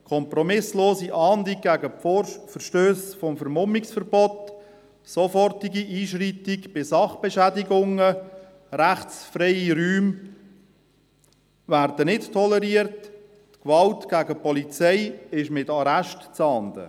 Kompromisslose Ahndung von Verstössen gegen das Vermummungsverbot, sofortiges Einschreiten bei Sachbeschädigungen, rechtsfreie Räume werden nicht toleriert, und Gewalt gegen die Polizei ist mit Arrest zu ahnden.